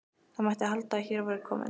Það mætti halda að hér væri kominn